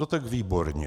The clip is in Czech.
No tak výborně.